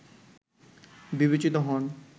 বিবেচিত হন